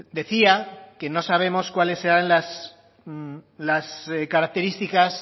decía que no sabemos cuáles eran las características